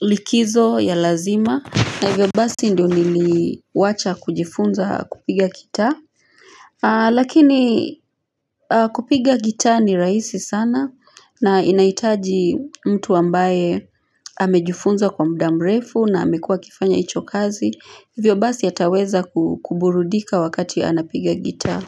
likizo ya lazima na hivyo basi ndio nili wacha kujifunza kupiga gitaa Lakini kupiga gitaa ni raisi sana na inaitaji mtu ambaye amejifunza kwa mda mrefu na amekuwa kifanya icho kazi Hivyo basi ataweza kuburudika wakati anapiga gita.